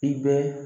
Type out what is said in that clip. I bɛ